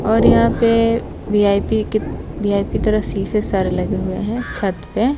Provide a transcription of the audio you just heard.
और यहां पे वी_आई_पी की वी_आई_पी तरह शीशे सारी लगे हुए हैं छत पे।